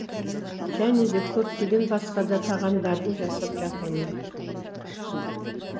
және де көптеген басқа да тағамдарды жасап жатырмын